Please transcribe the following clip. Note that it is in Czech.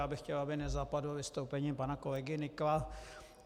Já bych chtěl, aby nezapadlo vystoupení pana kolegy Nykla.